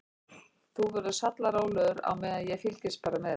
Þú verður sallarólegur á meðan og fylgist bara með.